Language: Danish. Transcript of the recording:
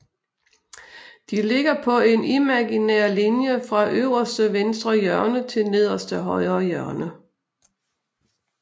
De ligger på en imaginær linje fra øverste venstre hjørne til nederste højre hjørne